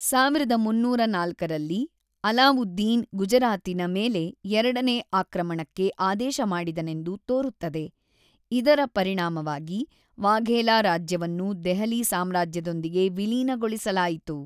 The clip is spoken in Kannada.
೧೩೦೪ ರಲ್ಲಿ, ಅಲಾವುದ್ದೀನ್ ಗುಜರಾತಿನ ಮೇಲೆ ಎರಡನೇ ಆಕ್ರಮಣಕ್ಕೆ ಆದೇಶ ಮಾಡಿದನೆಂದು ತೋರುತ್ತದೆ, ಇದರ ಪರಿಣಾಮವಾಗಿ ವಾಘೇಲಾ ರಾಜ್ಯವನ್ನು ದೆಹಲಿ ಸಾಮ್ರಾಜ್ಯದೊಂದಿಗೆ ವಿಲೀನಗೊಳಿಸಲಾಯಿತು.